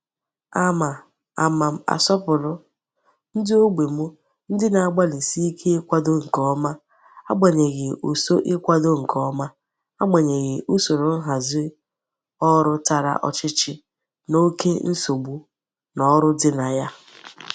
Ama Ama m asopuru ndi ogbo m ndi na-agbalisike ikwado nke oma agbanyeghi uso ikwado nke oma agbanyeghi usoro nhazi oru Tara ochichi na oke nsogbu n'oru di na ya.